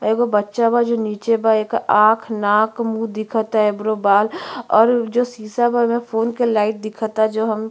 एगो बच्चा बा जो नीचे बा। एकर आँख नाक मुँह दिखता। एब्रो बाल और जो शीशा बा ओमे फ़ोन के लाइट दिखता जो हम --